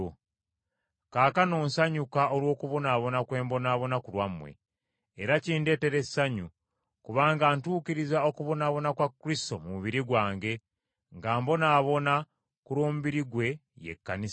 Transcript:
Kaakano nsanyuka olw’okubonaabona kwe mbonaabona ku lwammwe. Era kindeetera essanyu, kubanga ntuukiriza okubonaabona kwa Kristo mu mubiri gwange, nga mbonaabona ku lw’omubiri gwe, ye Kkanisa.